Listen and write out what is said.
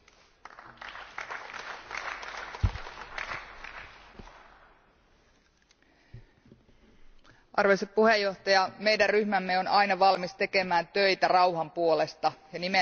Arvoisa puhemies, meidän ryhmämme on aina valmis tekemään töitä rauhan puolesta ja nimenomaan sen puolesta, että sananvapaus ja ihmisten oikeus mielipiteisiin ja demokratia tässä maailmassa edistyy.